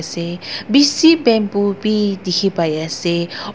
te bishi bamboo bi dikhipaiase.